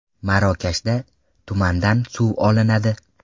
Marokashda tumandan suv olinadi .